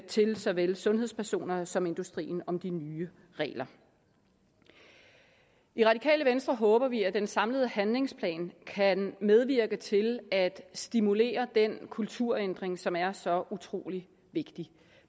til såvel sundhedspersonerne som industrien om de nye regler i radikale venstre håber vi at den samlede handlingsplan kan medvirke til at stimulere den kulturændring som er så utrolig vigtig